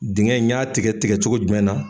Diŋɛ n y'a tigɛ tigɛ cogo jumɛn na?